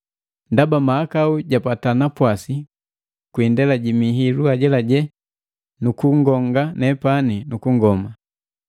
Ndaba mahakau gapata napwasi kwi indela ji mihilu ajelaje nukungonga nepani nu kungoma.